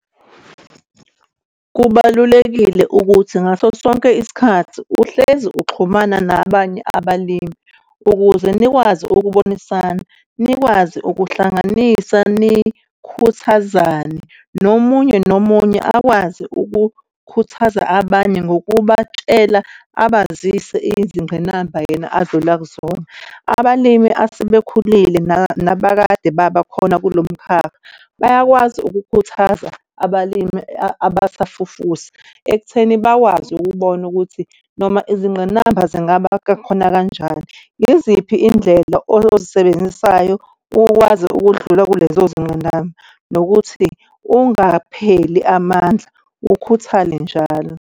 Kubalulekile ukuthi ngaso sonke isikhathi uhlezi ukuxhumana nabanye abalimi ukuze nikwazi ukubonisana, nikwazi ukuhlanganisa nikhuthazane nomunye nomunye akwazi ukukhuthaza abanye ngokubatshela abazise izingqinamba yena adlula kuzona. Abalimi asebekhulile nabakade babakhona kulo mkhakha bayakwazi ukukhuthaza abalimi abasafufusa ekutheni bakwazi ukubona ukuthi noma izingqinamba zingaba khona kanjani. Yiziphi iy'ndlela oyozisebenzisayo ukwazi ukudlula kulezo zingqinamba? Nokuthi ungapheli amandla, ukhuthale njalo.